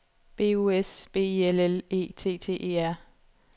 B U S B I L L E T T E R